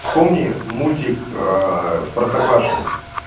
вспомни мультик в простоквашино